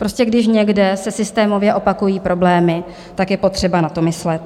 Prostě když někde se systémově opakují problémy, tak je potřeba na to myslet.